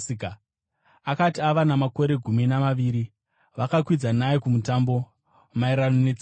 Akati ava namakore gumi namaviri, vakakwidza naye kuMutambo, maererano netsika yavo.